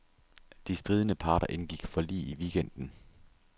De stridende parter indgik forlig i weekenden.